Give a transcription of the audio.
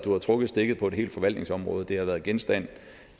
har trukket stikket på et helt forvaltningsområde det har været genstand